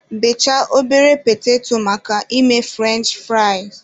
Bechaa ọbere petato maka ime furench fụraịs.